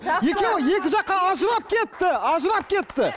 екеуі екі жаққа ажырап кетті ажырап кетті